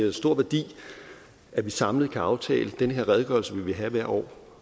af stor værdi at vi samlet kan aftale at den her redegørelse vil vi have hvert år